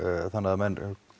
þannig að menn